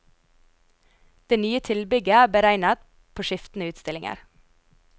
Det nye tilbygget er beregnet på skiftende utstillinger.